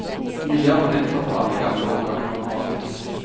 Nye abonnenter får alle gamle årganger gratis.